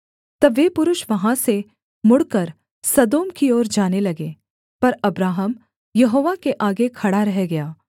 तब वे पुरुष वहाँ से मुड़कर सदोम की ओर जाने लगे पर अब्राहम यहोवा के आगे खड़ा रह गया